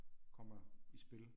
Kommer i spil